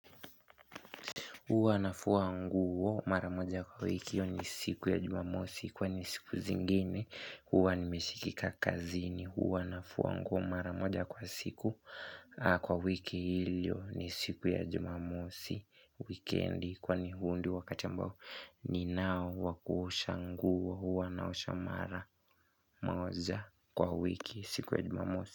Huwa nafua nguo maramoja kwa wiki hiyo ni siku ya jumamosi kwani siku zingine huwa nimeshikika kazini huwa nafua nguo maramoja kwa siku kwa wiki ilio ni siku ya jumamosi wikendi kwani huu ndio wakati ambao ninao wa kuosha nguo huwa naosha maramoja kwa wiki siku ya jumamosi.